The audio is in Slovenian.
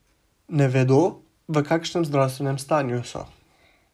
Ne vedo, v kakšnem zdravstvenem stanju so.